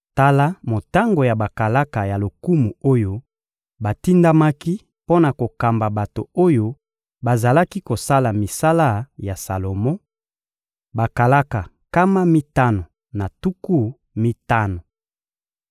Tala motango ya bakalaka ya lokumu oyo batindamaki mpo na kokamba bato oyo bazalaki kosala misala ya Salomo: bakalaka nkama mitano na tuku mitano.